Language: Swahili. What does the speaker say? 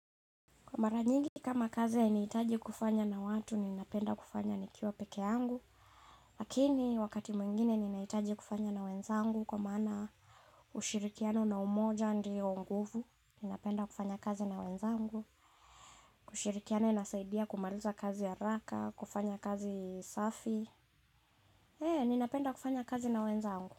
Kwa maranyigi kama kazi hainiitaji kufanya na watu, ninapenda kufanya nikiwa peke yangu. Lakini wakati mwingine ninahitaji kufanya na wenzangu kwa maana ushirikiano na umoja ndio nguvu. Ninapenda kufanya kazi na wenzangu. Kushirikiana inasaidia kumaliza kazi haraka, kufanya kazi safi. Ninapenda kufanya kazi na wenzangu.